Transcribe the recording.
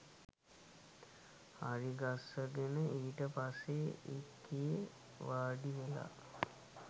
හරිගස්සගෙන ඊට පස්සේ ඒකේ වාඩිවෙලා